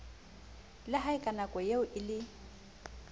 la haeka nakoeo e le